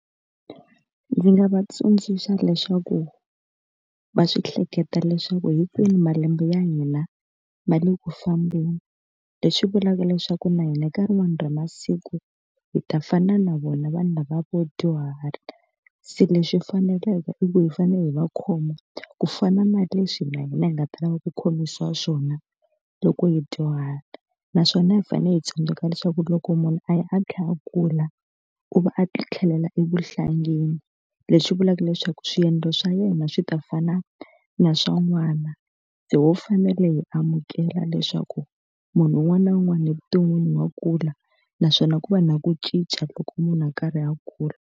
Ndzi nga va tsundzuxa leswaku va swi hleketa leswaku hinkwenu malembe ya hina ma le ku fambeni, leswi vulaka leswaku na hina ka rin'wani ra masiku hi ta fana na vona vanhu lavaya vo dyuhala. Se leswi faneleke i ku hi fanele hi va khoma ku fana na leswi na hina hi nga ta lava ku khomisiwa xiswona loko hi dyuhala. Naswona hi fanele hi tsundzuka leswaku loko munhu a ya a karhi a kula, u va a tlhelela evuhlangeni leswi vulaka leswaku swiendlo swa yena swi ta fana na swa n'wana. Se ho fanele hi amukela leswaku munhu un'wana na un'wana evuton'wini wa kula, naswona ku va na ku cinca loko munhu a karhi a kula.